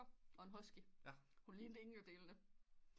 Og en husky hun lignede ingen af delene